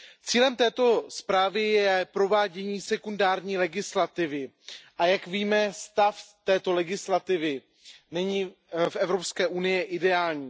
Cílem této zprávy je provádění sekundární legislativy a jak víme, stav této legislativy není v Evropské unii ideální.